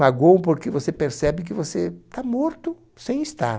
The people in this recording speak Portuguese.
Magoam porque você percebe que está morto, sem estar.